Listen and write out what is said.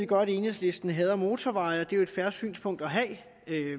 godt at enhedslisten hader motorveje og det er jo et fair synspunkt at have